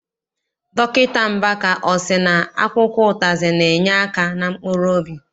Dọkịta Mbaka, ọ sị na akwụkwọ ụzịza na- enyeaka na mkpuruobi?